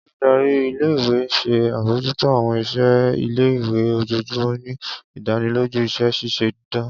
Oludari ìle-ìwe n ṣe abojuto awọn iṣẹ ile-iwe ojoojumọ, ni idaniloju iṣẹ ṣiṣe dan.